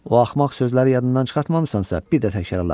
O axmaq sözləri yadından çıxartmamısansa, bir də təkrarla.